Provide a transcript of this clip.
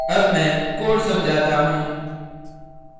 अब मैं code समझाता हूँ